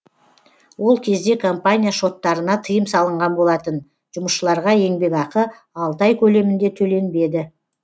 ол кезде компания шоттарына тыйым салынған болатын жұмысшыларға еңбек ақы алты ай көлемінде төленбеді